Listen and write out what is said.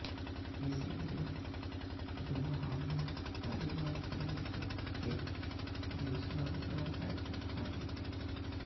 इसके लिए दोहा में तालिबान के नेतृत्व के बीच लगातार बैठकें जारी हैं